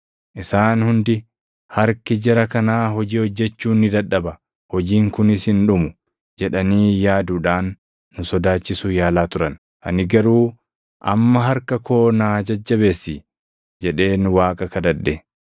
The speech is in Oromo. Isaan hundi, “Harki jara kanaa hojii hojjechuu ni dadhaba; hojiin kunis hin dhumu” jedhanii yaaduudhaan nu sodaachisuu yaalaa turan. Ani garuu, “Amma harka koo naa jajjabeessi” jedheen Waaqa kadhadhe.